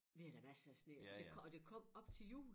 Vi havde da masser af sne det og det kom op til jul